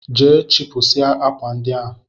Jee chịpụsịa akwa ndị a!